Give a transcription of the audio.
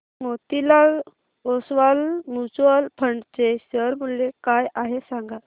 Motilal Oswal mutual fund चे share मूल्य काय आहे सांगा